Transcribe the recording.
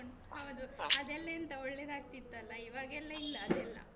ಹೌದು ಅದೆಲ್ಲಾ ಎಂತ ಒಳ್ಳೆ ಆಗ್ತಿತ್ತು ಅಲ ಇವಾಗ ಎಲ್ಲ ಇಲ್ಲಾ ಅದೆಲ್ಲಾ.